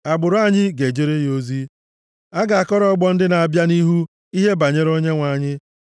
Agbụrụ anyị ga-ejere ya ozi; a ga-akọrọ ọgbọ ndị na-abịa nʼihu ihe banyere onyenwe anyị.